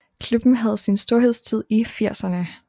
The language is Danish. Klubben havde sin storhedstid i firserne